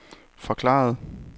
forklarede